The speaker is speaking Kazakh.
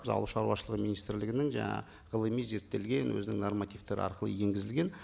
біз ауыл шаруашылығы министрлігінің жаңағы ғылыми зерттелген өзінің нормативтары арқылы енгізілген